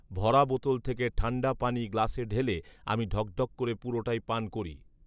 ভরা বোতল থেকে ঠাণ্ডা পানি গ্লাসে ঢেলে আমি ঢকঢক করে পুরোটাই পান করি